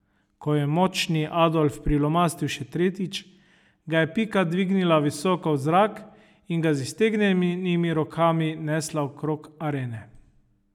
Ko je Močni Adolf prilomastil še tretjič, ga je Pika dvignila visoko v zrak in ga z iztegnjenimi rokami nesla okrog arene.